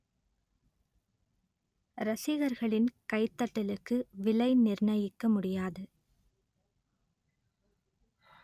ரசிகர்களின் கைதட்டலுக்கு விலை நிர்ணயிக்க முடியாது